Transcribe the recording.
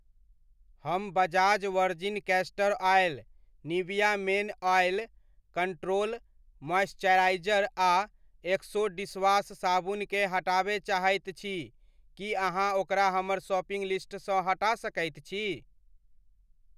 हम Bajaj virgin castor oil, Nivea men oil control moisturiser आ Exo dishwash साबुन केँ हटाबय चाहैत छी, की अहाँ ओकरा हमर शॉपिंग लिस्टसँ हटा सकैत छी?